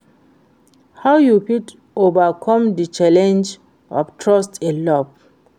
how you fit overcome di challenge of trust in love?